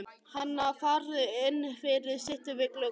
Hana, farðu inn fyrir, sittu við gluggann.